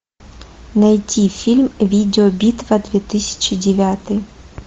найти фильм видеобитва две тысячи девятый